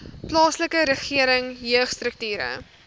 plaaslike regering jeugstrukture